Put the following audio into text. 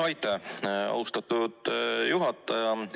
Aitäh, austatud juhataja!